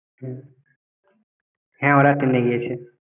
হ্যাঁ হ্যাঁ ওরা ট্রেনে গিয়েছে।